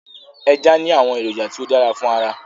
Eja ni awọn eroja ti o dara fun ara